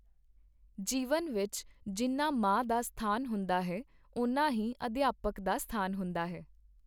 ਜੀਵਨ ਵਿੱਚ ਜਿੰਨਾ ਮਾਂ ਦਾ ਸਥਾਨ ਹੁੰਦਾ ਹੈ, ਉਨਾ ਹੀ ਅਧਿਆਪਕ ਦਾ ਸਥਾਨ ਹੁੰਦਾ ਹੈ।